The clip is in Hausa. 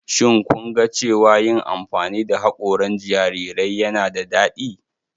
Shin kun ga cewa yin amfani da haƙoran jarirai yana da daɗi?